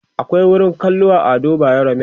akwai wurin kallo a Ado bayero mall